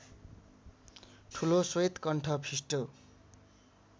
ठुलो श्वेतकण्ठ फिस्टो